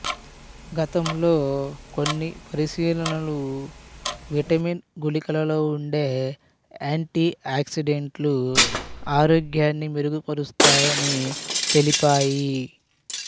గతంలో కొన్ని పరిశీలనలు విటమిన్ గుళికలలో వుండే యాంటి ఆక్సిడెంట్లు ఆరోగ్యాన్ని మెరుగుపరుస్తాయని తెలిపాయి